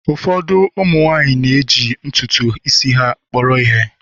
Ụfọdụ umu nwanyi na-eji ntutu isi ha kpọrọ ihe